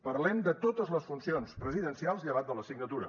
parlem de totes les funcions presidencials llevat de la signatura